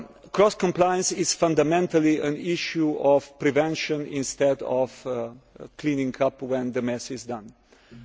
Cross compliance is fundamentally an issue of prevention instead of cleaning up when the mess has been